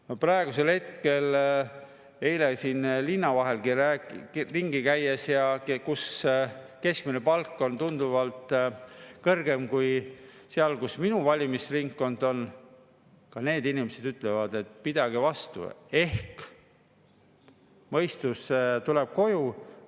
Eile ringi käies siin linna vahel, kus keskmine palk on tunduvalt kõrgem kui seal, kus minu valimisringkond on, inimesed ütlesid, et pidage vastu, ehk mõistus tuleb koju.